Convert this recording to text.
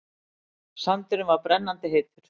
Sandurinn var brennandi heitur.